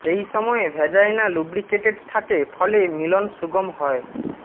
এই সময়ে vagina lubricated থাকে ফলে মিলন সুগম হয়